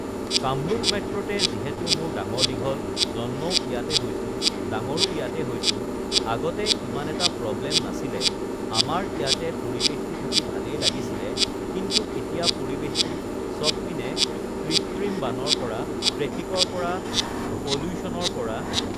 কামৰূপ মেট্ৰ'তে যিহেতু মোৰ ডাঙৰ-দীঘল জন্মও ইয়াতে হৈছোঁ ডাঙৰো ইয়াতে হৈছোঁ আগতে ইমান এটা প্ৰবলেম নাছিলে আমাৰ ইয়াতে পৰিৱেশটো থাকি ভালেই লাগিছিলে কিন্তু এতিয়া পৰিৱেশটো চবপিনে কৃত্ৰিম বানৰ পৰা ট্ৰেফিকৰ পৰা পল্যোচনৰ পৰা